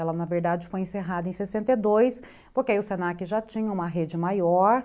Ela, na verdade, foi encerrada em sessenta e dois, porque aí o se na que já tinha uma rede maior